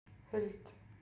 Huld